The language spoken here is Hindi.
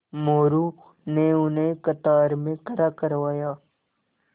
मोरू ने उन्हें कतार में खड़ा करवाया